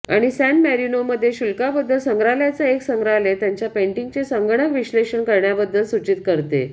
आणि सॅन मारीनोमध्ये शुल्काबद्दल संग्रहालयाचा एक संग्रहालय त्यांच्या पेंटिंगचे संगणक विश्लेषण करण्याबद्दल सूचित करते